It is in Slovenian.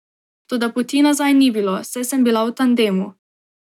Toda poti nazaj ni bilo, saj sem bila v tandemu.